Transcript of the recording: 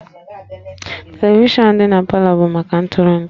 Televishọnụ dị na Palọ bụ maka ntụrụndụ